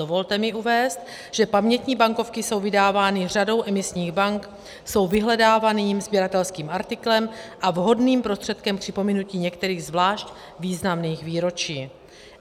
Dovolte mi uvést, že pamětní bankovky jsou vydávány řadou emisních bank, jsou vyhledávaným sběratelským artiklem a vhodným prostředkem k připomenutí některých zvlášť významných výročí.